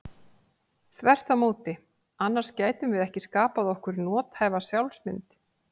Þvert á móti, annars gætum við ekki skapað okkur nothæfa sjálfsmynd.